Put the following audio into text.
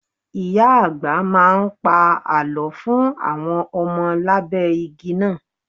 Ìyá-àgbà ń pa àlọ́ fún àwọn ọmọ lábẹ́ igi náà.